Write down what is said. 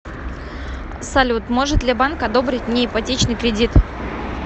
салют может ли банк одобрить мне ипотечный кредит